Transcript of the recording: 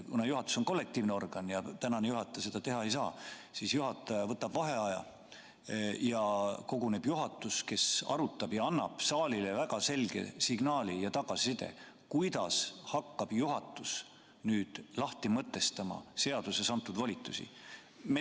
Kuna juhatus on kollektiivne organ ja istungi juhataja seda otsustada ei saa, siis juhataja võtab vaheaja ja koguneb juhatus, kes asja arutab ning annab saalile väga selge signaali ja tagasiside, kuidas hakkab juhatus nüüd lahti mõtestama seaduses antud volitusi.